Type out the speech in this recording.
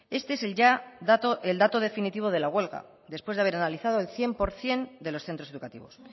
este es el dato definitivo de la huelga después de haber analizado el cien por ciento de los centros educativos